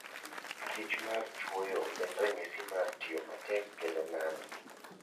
kich mar chwoyo en ranyisi mar tiyo matek kendo nano.